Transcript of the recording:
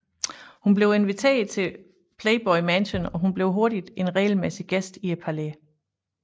Hun blev inviteret til Playboy Mansion og blev hurtigt en regelmæssig gæst i palæet